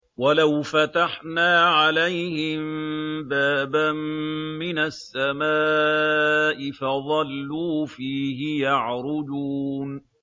وَلَوْ فَتَحْنَا عَلَيْهِم بَابًا مِّنَ السَّمَاءِ فَظَلُّوا فِيهِ يَعْرُجُونَ